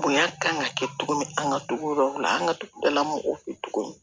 Bonya kan ka kɛ cogo min an ka togodaw la an ka dugu dala mɔgɔw fɛ cogo min